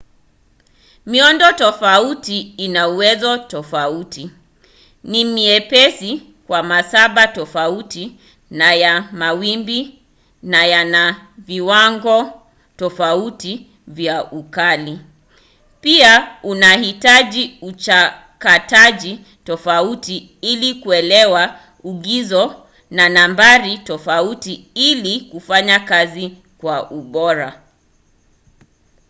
miundo tofauti ina uwezo tofauti ni myepesi kwa masafa tofauti ya mawimbi na yana viwango tofauti vya ukali pia inahitaji uchakataji tofauti ili kuelewa ingizo na nambari tofauti ili kufanya kazi kwa ubora